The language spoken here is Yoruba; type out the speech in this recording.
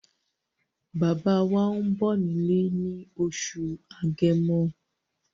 Bàbá wá ń bọ̀ nílé ní oṣù agẹmo